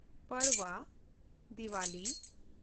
Padwa (Diwali)